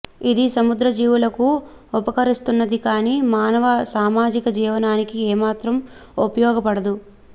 ఇది సముద్ర జీవులకు ఉపకరిస్తున్నది కాని మానవ సామాజిక జీవనానికి ఏమాత్రం ఉపయోగపడదు